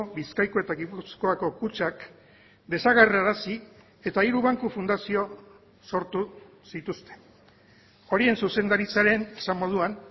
bizkaiko eta gipuzkoako kutxak desagerrarazi eta hiru banku fundazio sortu zituzten horien zuzendaritzaren esan moduan